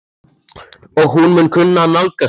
Og hún mun kunna að nálgast það.